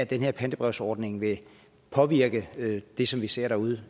den her pantebrevsordning vil påvirke det som vi ser derude